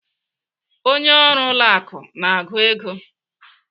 Onye ọrụ ụlọ akụ na-agụ ego.